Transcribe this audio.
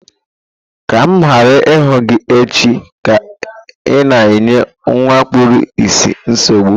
Ka m ghara ịhụ gị echi ka ị na-enye nwa kpuru ìsì nsogbu!